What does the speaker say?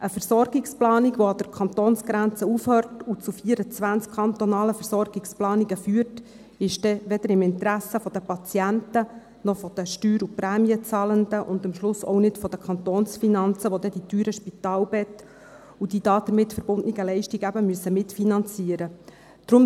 Eine Versorgungsplanung, die an der Kantonsgrenze aufhört und zu 24 kantonalen Versorgungsplanungen führt, ist weder im Interesse der Patienten noch der Steuer- und Prämienzahlenden – und am Schluss auch nicht der Kantonsfinanzen, welche die teuren Spitalbetten und die damit verbundenen Leistungen eben mitfinanzieren müssen.